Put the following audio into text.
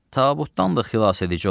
Tabutdan da xilasedici olar?